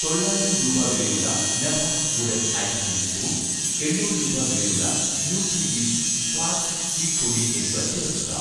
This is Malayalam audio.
തൊള്ളായിരം രൂപ വിലയുള്ള 'നഭാസ്' വുഡൻ ഐസ്ക്രീം സ്പൂൺ, എണ്ണൂറ് രൂപ വിലയുള്ള 'ന്യൂട്രിവിഷ്' ഫ്ളാക്സ് സീഡ് പൊടി എന്നിവ ചേർക്കുക